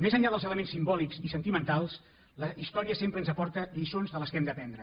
més enllà dels elements simbòlics i sentimentals la història sempre ens aporta lliçons de les quals hem d’apren dre